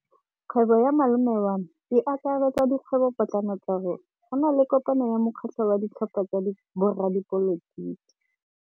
Kgwêbô ya malome wa me e akaretsa dikgwêbôpotlana tsa rona. Go na le kopanô ya mokgatlhô wa ditlhopha tsa boradipolotiki.